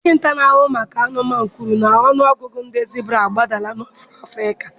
Dọkịta na-ahụ maka anụmanụ kwuru na ọnụ ọgụgụ ndị zibra agbadala n'ofe Afrịka.